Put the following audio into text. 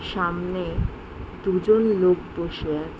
সামনে দুজন লোক বসে আছে।